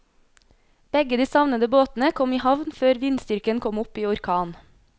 Begge de savnede båtene kom i havn før vindstyrken kom opp i orkan.